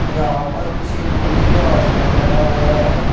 यहां पर किसी गुरु जी को आश्रम बना हुआ है।